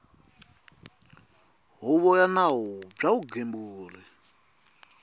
huvo ya nawu bya vugembuli